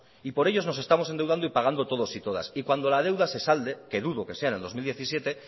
y por ellos nos estamos endeudando y pagando todos y todas y cuando la deuda se salde que dudo que sea en el dos mil diecisiete